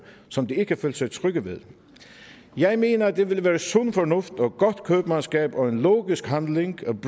som de ikke følte sig trygge ved jeg mener det ville være sund fornuft og godt købmandskab og en logisk handling